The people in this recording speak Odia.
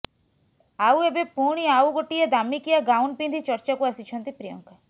ଆଉ ଏବେ ପୁଣି ଆଉ ଗୋଟିଏ ଦାମିକିଆ ଗାଉନ୍ ପିନ୍ଧି ଚର୍ଚ୍ଚାକୁ ଆସିଛନ୍ତି ପ୍ରିୟଙ୍କା